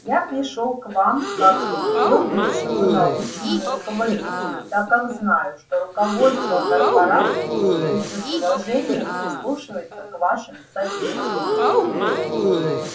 я пришёл к вам как к её бывшему научному руководителю так как знаю что руководство корпорации всё ещё с уважением прислушивается к вашим советам